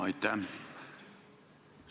Aitäh!